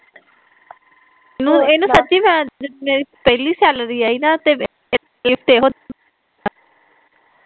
ਇਹਨੂੰ ਸੱਚੀ ਜਦ ਮੇਰੀ ਪਹਿਲੀ ਸੈਲਰੀ ਆਈ ਨਾ ਤੇ ਗਿਫ਼ਟ ਏਹੋ